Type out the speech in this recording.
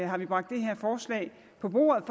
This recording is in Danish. har vi bragt det her forslag på bordet